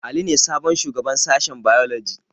Ali ne sabon shugaban sashen bailoji